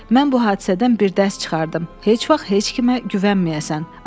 Mən bu hadisədən bir dərs çıxardım: Heç vaxt heç kimə güvənməyəcəksən.